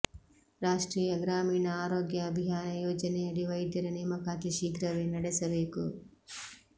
ರಾಷ್ಟ್ರೀಯ ಗ್ರಾಮೀಣ ಆರೋಗ್ಯ ಅಭಿಯಾನ ಯೋಜನೆಯಡಿ ವೈದ್ಯರ ನೇಮಕಾತಿ ಶೀಘ್ರವೇ ನಡೆಸಬೇಕು